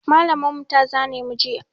Mallam mu ta zane mu juya